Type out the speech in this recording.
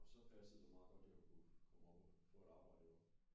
Og så passede det meget godt jeg kunne komme op og få et arbejde herovre